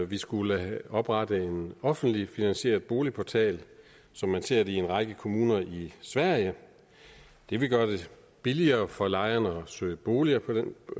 vi skulle oprette en offentligt finansieret boligportal som man ser det i en række kommuner i sverige det ville gøre det billigere for lejerne at søge boliger på den